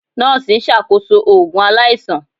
Nọọsi n ṣakoso oogun alaisan.